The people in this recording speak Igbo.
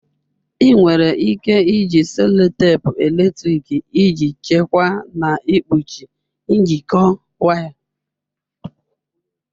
Ị nwere ike iji sellotape eletrịk iji chekwaa na ikpuchi njikọ waya.